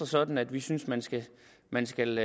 sådan at vi synes man skal man skal